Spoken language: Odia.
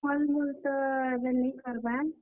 ଫଲ୍, ମୁଲ୍ ତ ଏଭେ ନି କରବାର୍।